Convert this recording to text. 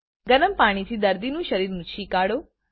ગરમ પાણી થી દર્દીનું શરીર નુચી કાઢો